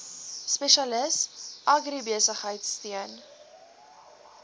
spesialis agribesigheid steun